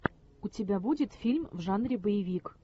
у тебя будет фильм в жанре боевик